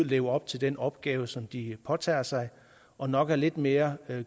leve op til den opgave som de påtager sig og nok er lidt mere